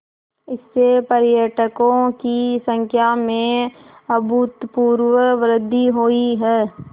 इससे पर्यटकों की संख्या में अभूतपूर्व वृद्धि हुई है